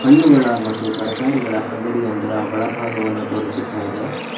ಹಣ್ಣುಗಳ ಮತ್ತು ತರಕಾರಿಗಳ ಅಂಗಡಿ ಒಂದರ ಒಳ ಭಾಗವನ್ನು ತೋರಿಸುತ್ತ ಇದೆ.